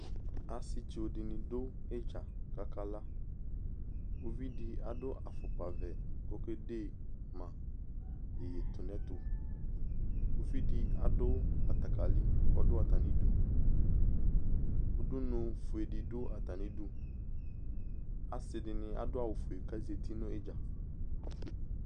Asetso de ne do idza kaka laUvi de ado afokpavɛ ko kede ma yeyetunɛtoUvi de aso batakali kɔdo atane duUdunufue de do atane duAse de ne ado awufue ka zati no idza